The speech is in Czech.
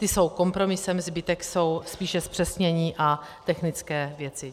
Ty jsou kompromisem, zbytek jsou spíše zpřesnění a technické věci.